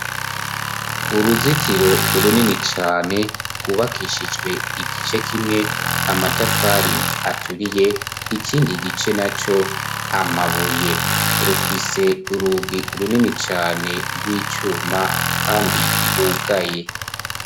Uruzitiro runini cane rwubakishijwe igice kimwe amatafari aturiye, ikindi gice na co amabuye. Rufise urugi runini cane rw'icuma kandi rwugaye.